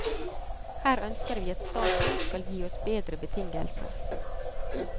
Her ønsker vi at staten skal gi oss bedre betingelser.